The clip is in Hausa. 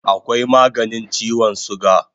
Akwai maganin chiwon suga